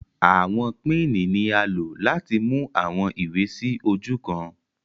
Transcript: Awọn pinni ni a lo lati mu awọn iwe si oju kan